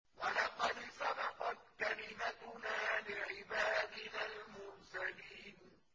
وَلَقَدْ سَبَقَتْ كَلِمَتُنَا لِعِبَادِنَا الْمُرْسَلِينَ